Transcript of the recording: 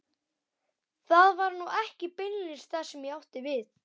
Það var nú ekki beinlínis það sem ég átti við.